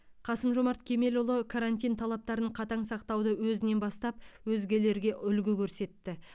қасым жомарт кемелұлы карантин талаптарын қатаң сақтауды өзінен бастап өзгелерге үлгі көрсетті